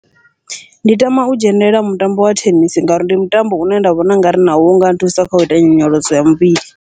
Ndi tama u dzhenelela mutambo wa thenisi, ngauri ndi mutambo une nda vhona ungari nawo unga nthusa kha uita nyonyoloso ya muvhili.